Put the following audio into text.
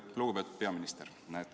Lugupeetud peaminister!